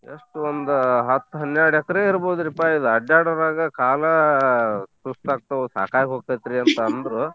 ಎಸ್ಟ್ ಒಂದು ಹತ್ತ ಹನ್ಯಾಡ್ ಎಕ್ರೇ ಇರಬೋದ್ರಿ ಪಾ ಇದು ಅಡ್ಡಾಡೋರಾಗ ಕಾಲ ಸುಸ್ತ ಆಕ್ತಾವ ಸಾಕಾಗ್ ಹೋಕ್ತೇತಿ ರೀ ಅಂತ ಅಂದ್ರು.